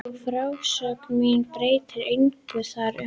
Og frásögn mín breytir engu þar um.